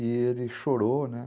E ele chorou, né.